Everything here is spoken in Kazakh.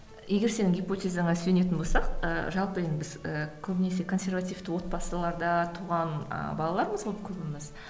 егер сенің гипотезаңа сүйенетін болсақ ыыы жалпы енді біз ы көбінесе консервативті отбасыларда туған ы балалармыз ғой көбіміз